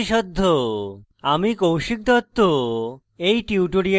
আমি কৌশিক দত্ত